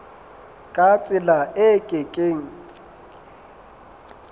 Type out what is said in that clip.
ka tsela e ke keng